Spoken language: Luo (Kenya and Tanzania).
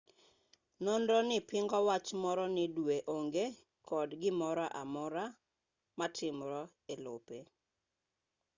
nonronii pingo wach moro ni dwe onge kod gimoroamora matimre elope